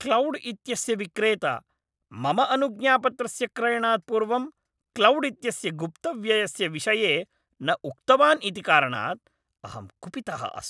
Cloud इत्यस्य विक्रेता मम अनुज्ञापत्रस्य क्रयणात् पूर्वं क्लौड् इत्यस्य गुप्तव्ययस्य विषये न उक्तवान् इति कारणात् अहं कुपितः अस्मि।